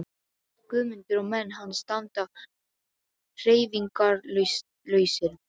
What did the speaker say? Guðmundur og menn hans standa hreyfingarlausir.